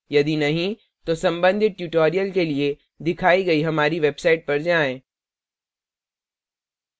यदि नहीं तो संबंधित tutorials के लिए दिखाई गई हमारी website पर जाएँ http:// www spokentutorial org